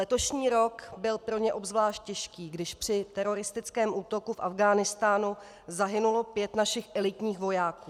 Letošní rok byl pro ně obzvlášť těžký, když při teroristickém útoku v Afghánistánu zahynulo pět našich elitních vojáků.